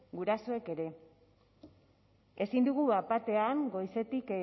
gurasoek ere ezin dugu bat batean goizetik